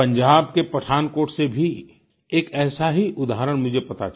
पंजाब के पठानकोट से भी एक ऐसा ही उदाहरण मुझे पता चला